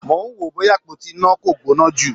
Mò ń wò ó bóyá àpótí iná kò gbóná jù.